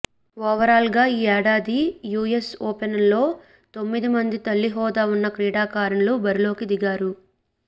ఓవరాల్గా ఈ ఏడాది యూఎస్ ఓపెన్లో తొమ్మిది మంది తల్లి హోదా ఉన్న క్రీడాకారిణులు బరిలోకి దిగారు